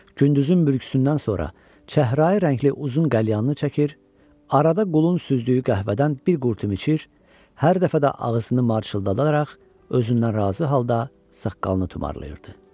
Gündüzün mürgüsündən sonra çəhrayı rəngli uzun qəlyanını çəkir, arada qulun süzdüyü qəhvədən bir qurtum içir, hər dəfə də ağzını marçıldadaraq özündən razı halda saqqalını tumarlayırdı.